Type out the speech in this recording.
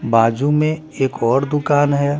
बाजू में एक और दुकान हैं ।